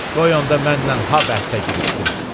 Qoy onda mənlə ha bəhsə girişsin.